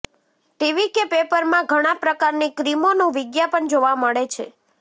TV કે પેપરમાં ઘણા પ્રકારની ક્રીમોનું વિજ્ઞાપન જોવા મળે છે